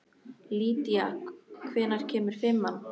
Lýdía, hvenær kemur fimman?